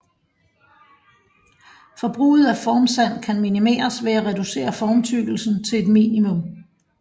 Forbruget af formsand kan minimeres ved at reducere formtykkelsen til et minimum